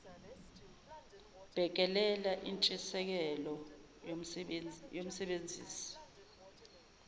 bhekelela intshiseko yomsebenzisi